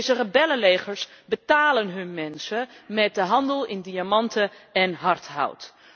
Deze rebellenlegers betalen hun mensen met de handel in diamanten en hardhout.